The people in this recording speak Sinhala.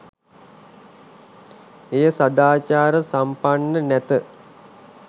එය සදාචාර සම්පන්න නැත